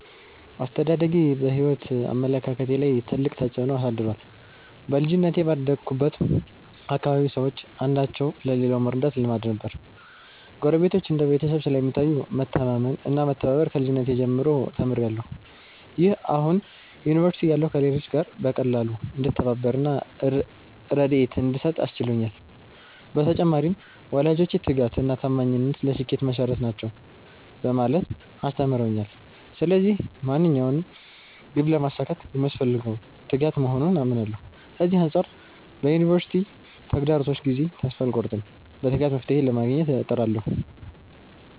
አስተዳደጌ በሕይወት አመለካከቴ ላይ ትልቅ ተጽዕኖ አሳድሯል። በልጅነቴ ባደግሁበት አካባቢ ሰዎች አንዳቸው ለሌላው መርዳት ልማድ ነበር። ጎረቤቶች እንደ ቤተሰብ ስለሚታዩ፣ መተማመን እና መተባበር ከልጅነቴ ጀምሮ ተምሬያለሁ። ይህ አሁን ዩኒቨርሲቲ እያለሁ ከሌሎች ጋር በቀላሉ እንድተባበር እና ርድኤት እንድሰጥ አስችሎኛል። በተጨማሪም፣ ወላጆቼ 'ትጋት እና ታማኝነት ለስኬት መሠረት ናቸው' በማለት አስተምረውኛል። ስለዚህ ማንኛውንም ግብ ለማሳካት የሚያስፈልገው ትጋት መሆኑን አምናለሁ። ከዚህ አንጻር በዩኒቨርሲቲ ተግዳሮቶች ጊዜ ተስፋ አልቆርጥም፤ በትጋት መፍትሔ ለማግኘት እጥራለሁ።